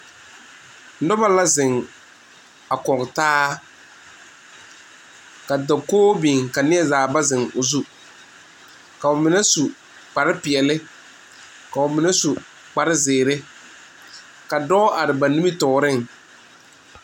Noba la zeŋ a kɔge taa ka dakogi biŋ ka nie zaa ba zeŋ o zu ka ba mine su kpare peɛle koo mine su kpare ziiri ka dɔɔ are ba nimitɔɔre.